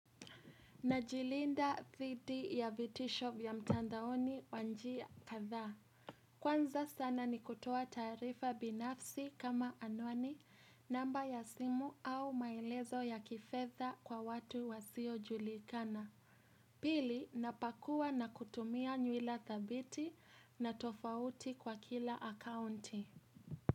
Najilinda dhidi ya vitisho vya mtandaoni kwa njia kadha. Kwanza sana nikutoa taarifa binafsi kama anwani, namba ya simu au maelezo ya kifedha kwa watu wasiojulikana. Pili napakua na kutumia nywila thabiti na tofauti kwa kila akaunti.